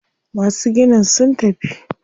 Masu ginin sun tafi.